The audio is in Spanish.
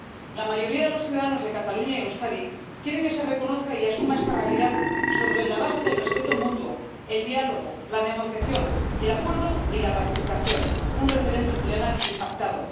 La mayoría de los ciudadanos de Cataluña y Euskadi quieren que se reconozca y asuma esta realidad sobre la base del respeto mutuo, el diálogo, la negociación, el acuerdo y la ratificación un referéndum legal y pactado.